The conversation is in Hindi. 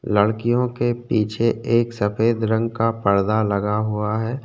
लडकियों के पीछे एक सफ़ेद रंग का पडदा लगा हुआ है।